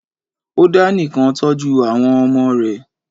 Ó dá nìkan tọ́jú àwọn ọmọ rẹ̀